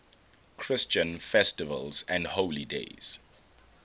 christian festivals and holy days